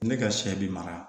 Ne ka sɛ bi mara